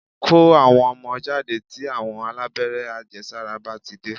Kó àwọn ọmọ jáde tí àwọn alábẹ́rẹ́ àjẹsàra bá ti dé